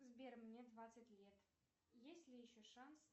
сбер мне двадцать лет есть ли еще шанс